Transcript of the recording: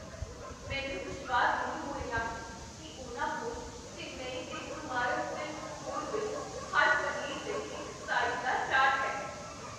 ਮੈਨੂੰ ਵਿਸ਼ਵਾਸ ਨਹੀਂ ਹੋ ਰਿਹਾ ਹੈ ਕੀ ਉਨ੍ਹਾਂ ਕੋਲ ਚੇਨੱਈ ਦੇ ਕੁਮਾਰਨ ਸਿਲਕਸ ਸਟੋਰ ਵਿੱਚ ਹਰ ਪਨੀਰ ਲਈ ਇੱਕ ਸਾਇਜ਼ ਦਾ ਚਾਰਟ ਹੈ।